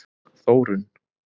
Þórunn